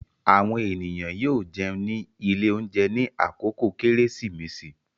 Àwọn ènìyàn yóò jẹun ní ilé-oúnjẹ ní àkókò Kérésìmesì.